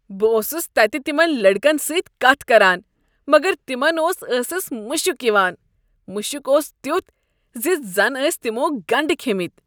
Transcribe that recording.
بہٕ اوسس تتہ تمن لٔڑکن سۭتۍ کتھ کران مگر تمن اوس ٲسس مشک یوان۔ مشک اوس تیتھ ز زنہٕ ٲسۍ تمو گنڈٕ کھیٚمٕتۍ۔